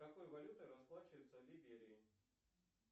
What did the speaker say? какой валютой расплачиваются в либерии